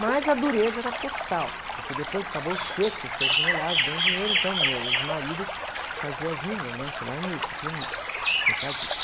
Mas a dureza era total, porque depois acabou o Seco, o Secos e Molhados, deu um dinheiro, então meu ex-marido fazia jingle, né, porque ele era músico, pianista, tecladista.